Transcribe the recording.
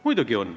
Muidugi on.